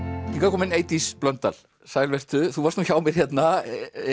komin Eydís Blöndal sæl vertu þú varst nú hjá mér hérna